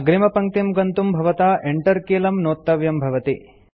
अग्रिमपङ्क्तिं गन्तुं भवता Enter कीलम् नोत्तव्यं भवति